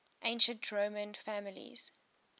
ancient roman families